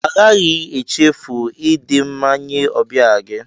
A gaghị echefu idi mma nye ọbịa gị.